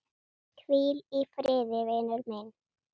Hvíl í friði, vinur minn.